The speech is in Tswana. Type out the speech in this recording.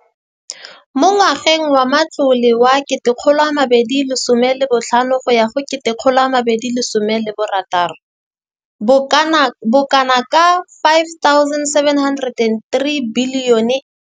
Mo ngwageng wa matlole wa 2015,16, bokanaka R5 703 bilione e ne ya abelwa lenaane leno.